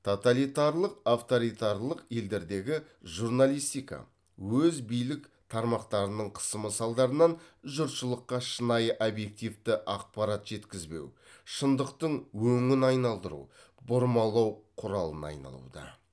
тоталитарлық авторитарлық елдердегі журналистика өз билік тармақтарының қысымы салдарынан жұртшылыққа шынайы объективті ақпарат жеткізбеу шындықтың өңін айналдыру бұрмалау құралына айналуда